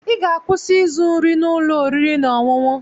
Ị ga-akwụsị ịzụ nri n'ụlọ oriri na ọṅụṅụ!